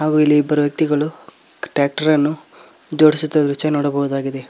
ಹಾಗು ಇಲ್ಲಿ ಇಬ್ಬರು ವ್ಯಕ್ತಿಗಳು ಟ್ರ್ಯಾಕ್ಟರ್ ಅನ್ನು ಜೋಡಿಸುತ್ತಿರುವ ದೃಶ್ಯ ನೋಡಬೋದಾಗಿದೆ.